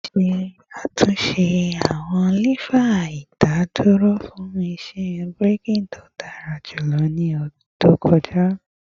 A ṣe atunṣe awọn lefa idaduro fun iṣẹ braking to dara julọ ni ọdun to kọja